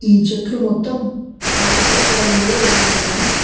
ఈ చెట్లు మొత్తం ఆకుపచ్చ రంగులో ఉన్నాయి.